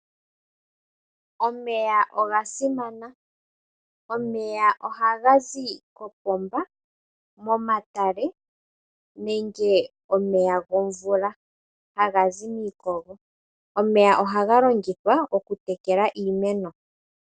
Omeya oga simana. Omeya ohaga zi kopomba, momatale nenge omeya gomvula, haga zi miikogo. Omeya ohaga longithwa okutekela iimeno.